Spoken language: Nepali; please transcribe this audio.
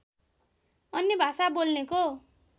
अन्य भाषा बोल्नेको